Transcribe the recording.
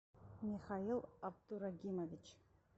михаил абдурагимович